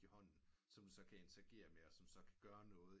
I hånden som du så kan interagere med og som så kan gøre noget